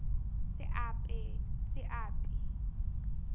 seapi